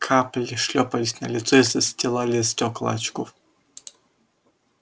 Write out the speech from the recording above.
капли шлёпались на лицо и застилали стёкла очков